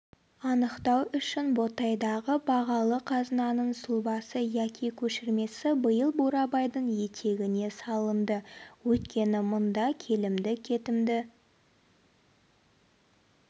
анықтау үшін ботайдағы бағалы қазынаның сұлбасы яки көшірмесі биыл бурабайдың етегіне салынды өйткені мұнда келімді-кетімді